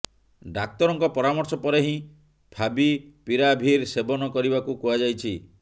ଡାକ୍ତରଙ୍କ ପରାମର୍ଶ ପରେ ହିଁ ଫାଭିପିରାଭିର ସେବନ କରିବାକୁ କୁହାଯାଇଛି